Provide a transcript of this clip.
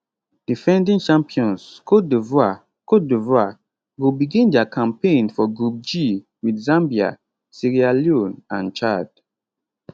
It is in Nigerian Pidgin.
defending champions cote divoire cote divoire go begin dia campaign for group g wit zambia sierra leone and chad